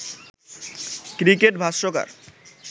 cricket ভাষ্যকার